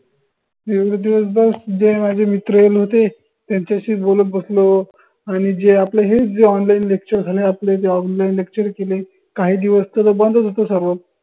दिवस दिवसभर जे माझे मित्र होते त्याच्याशीच बोलत बसलो आणि जे आपले हे जे onlinelecture झाले आपले ते onlinelecture केले काही दिवस तर बंदच होत सर्वच